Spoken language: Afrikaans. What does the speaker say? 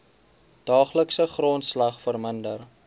daaglikse grondslag verminder